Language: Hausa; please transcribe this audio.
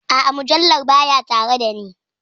A'a, mujallar baya tare da ni.